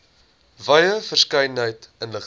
wye verskeidenheid inligting